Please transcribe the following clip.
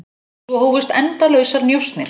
Svo hófust endalausar njósnir.